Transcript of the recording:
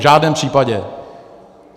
V žádném případě.